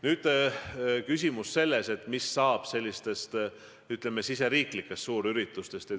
Nüüd küsimus, mis saab riigisisestest suurüritustest.